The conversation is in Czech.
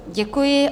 Děkuji.